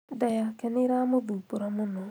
Nda yake nĩĩramũthumbũra mũno